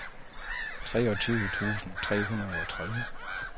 treogtyve tusind tre hundrede og tredive